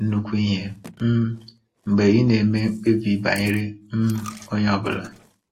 nnukwu ihe um mgbe ị na-eme mkpebi banyere um onye ọ bụla.